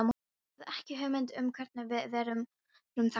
Ég hafði ekki hugmynd um hvernig við vorum þangað komnir.